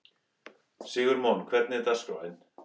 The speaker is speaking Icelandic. Sigurmon, hvernig er dagskráin?